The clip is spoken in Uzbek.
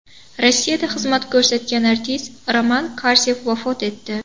Rossiyada xizmat ko‘rsatgan artist Roman Karsev vafot etdi.